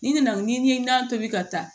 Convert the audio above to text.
N'i nana n'i ye nan tobi ka taa